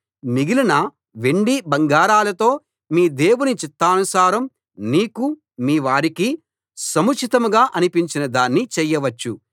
మిగిలిన వెండి బంగారాలతో మీ దేవుని చిత్తానుసారం నీకూ మీవారికీ సముచితంగా అనిపించిన దాన్ని చేయవచ్చు